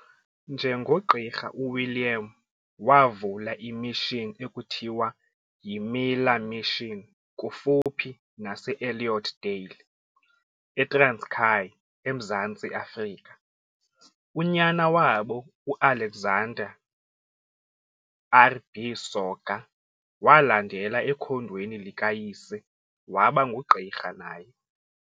Njengogqirha u-William wavula i"mission" ekuthiwa yi"Miller mission" kufuphi nase Elliotdale, eTranskei eMzantsi Afrika. Unyana wabo uAlexander RB Soga walandela ekhondweni likayise waba ngugqirha naye.